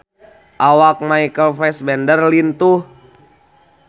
Awak Michael Fassbender lintuh